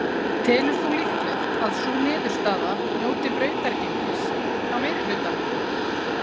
Telur þú líklegt að sú niðurstaða njóti brautargengis hjá meirihlutanum?